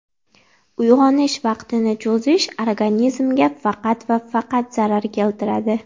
Uyg‘onish vaqtini cho‘zish organizmga faqat va faqat zarar keltiradi.